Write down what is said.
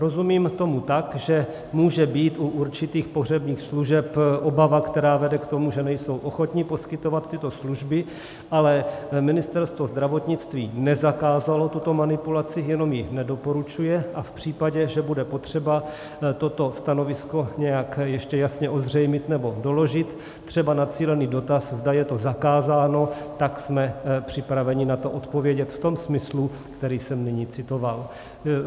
Rozumím tomu tak, že může být u určitých pohřebních služeb obava, která vede k tomu, že nejsou ochotni poskytovat tyto služby, ale Ministerstvo zdravotnictví nezakázalo tuto manipulaci, jenom ji nedoporučuje a v případě, že bude potřeba toto stanovisko nějak ještě jasně ozřejmit nebo doložit, třeba na cílený dotaz, zda je to zakázáno, tak jsme připraveni na to odpovědět v tom smyslu, který jsem nyní citoval.